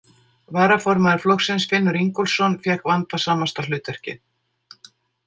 Varaformaður flokksins, Finnur Ingólfsson, fékk vandasamasta hlutverkið.